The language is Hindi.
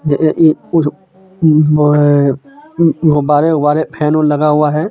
यह एक हे गुब्बारे वुब्बारे फेन वेन लगा हुआ हे.